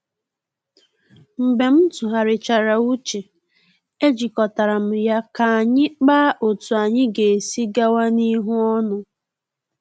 Mgbe m tụgharichara uche, e jikọtara m ya ka anyi kpaa otú anyị ga-esi gawa n’ihu ọnụ